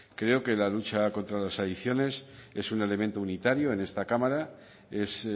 creo que la lucha contra las adicciones es un elemento unitario en esta cámara es